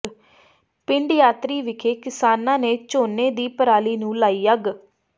ਪਿੰਡ ਯਾਤਰੀ ਵਿਖੇ ਕਿਸਾਨਾਂ ਨੇ ਝੋਨੇ ਦੀ ਪਰਾਲੀ ਨੂੰ ਲਗਾਈ ਅੱਗ